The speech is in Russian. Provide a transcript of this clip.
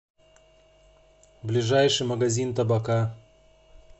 ближайший магазин табака